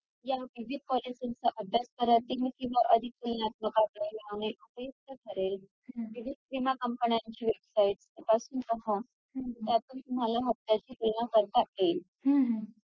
मग जो गोल वरचा डो असतो त्याला काय बोलतात crown . आणि जो खालचा flat bun असतो त्याला बोलतात hil तर मग हे दोन bun या दोन bun वरती आपण burger बनवतो.